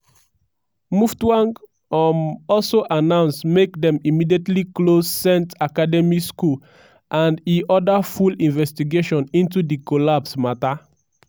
muftwang um also announce make dem immediately close saint academy school and and e order full investigation into di collapse matter.